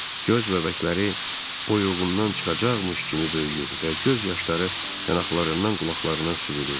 Göz bəbəkləri oyuğundan çıxacaqmıymış kimi böyüyür və göz yaşları yanaqlarından qulaqlarına süzülürdü.